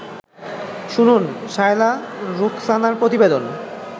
শুনুন শায়লা রুখসানার প্রতিবেদন